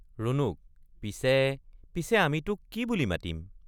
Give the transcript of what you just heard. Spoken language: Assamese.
ৰুণুক—পিছে পিছে আমি তোক কি বুলি মাতিম?